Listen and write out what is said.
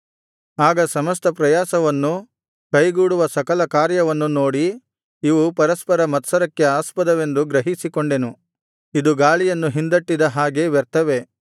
ಆಗ ಸಮಸ್ತ ಪ್ರಯಾಸವನ್ನು ಕೈಗೂಡುವ ಸಕಲ ಕಾರ್ಯವನ್ನು ನೋಡಿ ಇವು ಪರಸ್ಪರ ಮತ್ಸರಕ್ಕೆ ಆಸ್ಪದವೆಂದು ಗ್ರಹಿಸಿಕೊಂಡೆನು ಇದು ಗಾಳಿಯನ್ನು ಹಿಂದಟ್ಟಿದ ಹಾಗೆ ವ್ಯರ್ಥವೇ